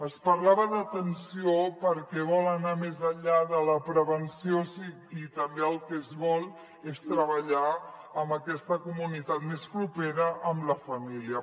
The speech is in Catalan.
es parlava d’ atenció perquè vol anar més enllà de la prevenció i també el que es vol és treballar amb aquesta comunitat més propera amb la família